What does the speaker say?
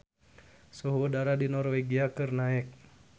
Suhu udara di Norwegia keur naek